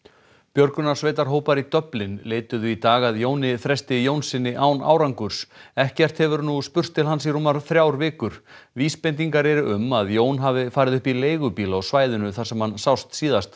björgunarsveitarhópar í Dublin leituðu í dag að Jóni Þresti Jónssyni án árangurs ekkert hefur nú spurst til hans í rúmar þrjár vikur vísbendingar eru um að Jón hafi farið upp í leigubíl á svæðinu þar sem hann sást síðast